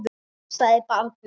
Já, sagði barnið.